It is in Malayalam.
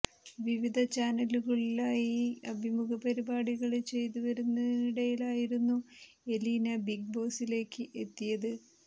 വിവിധ ചാനലുകളിലായി അഭിമുഖ പരിപാടികള് ചെയ്തുവരുന്നതിനിടയിലായിരുന്നു എലീന ബിഗ് ബോസിലേക്ക് എത്തിയത്